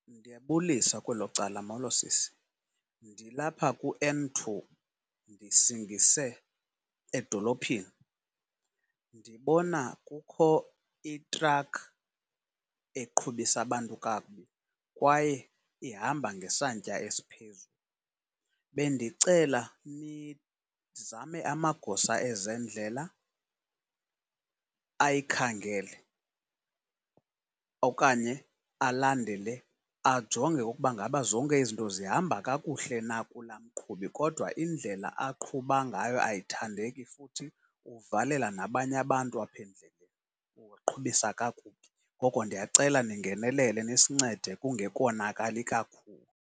Ndiyabulisa kwelo icala, mholo sisi. Ndilapha kuN two, ndisingise edolophini. Ndibona kukho itrakhi eqhubisa abantu kakubi, kwaye ihamba ngesantya esiphezulu. Bendicela nizame amagosa ezendlela ayikhangele okanye alandele, ajonge ukuba ngaba zonke izinto zihamba kakuhle na kulaa mqhubi. Kodwa indlela aqhuba ngayo ayithandeki futhi uvalela nabanye abantu apha endleleni, ubaqhubisa kakubi, ngoko ndiyacela ningenelele nisincede kungekonakali kakhulu.